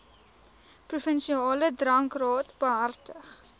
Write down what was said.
provinsiale drankraad behartig